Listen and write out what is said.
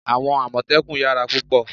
àwọn amotekun yara púpò